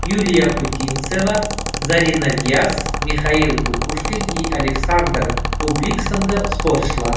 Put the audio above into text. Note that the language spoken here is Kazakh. юлия путинцева зарина дияс михаил кукушкин и александр бублик сынды спортшылар